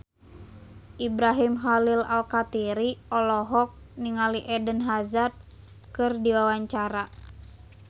Ibrahim Khalil Alkatiri olohok ningali Eden Hazard keur diwawancara